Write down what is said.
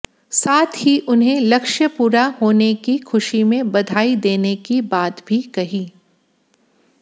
साथ ही उन्हें लक्ष्य पूरा होने की खुशी में बधाई देने की बात भी कही